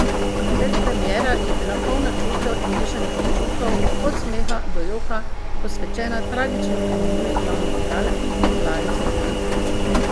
Predpremiera je bila polna čustev in mešanih občutkov, od smeha do joka, posvečena tragično preminuli glavni igralki Lari Safran.